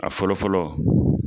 A fɔlɔ fɔlɔ